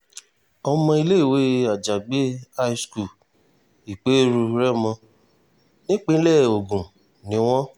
ọmọ iléèwé àjàgbé high school ìperú rèmọ nípínlẹ̀ ogun ni wọ́n